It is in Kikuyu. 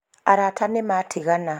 arata nĩmatigana